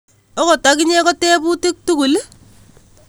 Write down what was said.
Okot okinye ko tebutik tugul ?